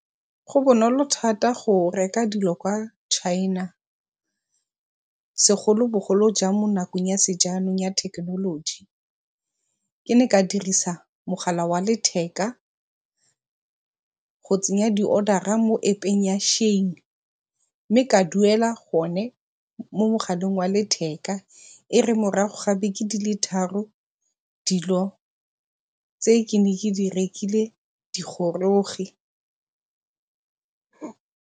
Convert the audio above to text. Go bonolo thata go reka dilo kwa China segolobogolo jang mo nakong ya sejanong ya thekenoloji. Ke ne ka dirisa mogala wa letheka go tsenya di-order-a mo App-eng ya Shein mme ka duela gone mo mogaleng wa letheka e re morago ga dibeke di le tharo dilo tse ne ke di rekile di goroge.